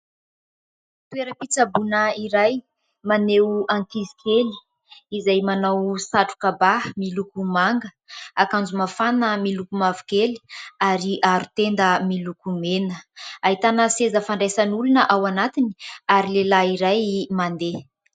Toera-pitsaboana iray maneho ankizy kely izay manao satroka ba miloko manga, akanjo mafana miloko mavokely ary aro tenda miloko mena. Ahitana seza fandraisan'olona ao anatiny ary lehilahy iray mandeha.